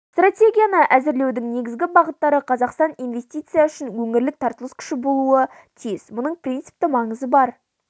стратегияны әзірлеудің негізгі бағыттары қазақстан инвестиция үшін өңірлік тартылыс күші болуы тиіс мұның принципті маңызы бар